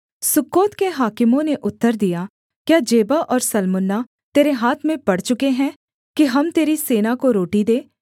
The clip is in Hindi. सुक्कोत के हाकिमों ने उत्तर दिया क्या जेबह और सल्मुन्ना तेरे हाथ में पड़ चुके हैं कि हम तेरी सेना को रोटी दें